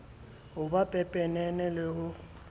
ho ba pepenene le ho